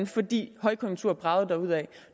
fordi højkonjunkturen bragede derudad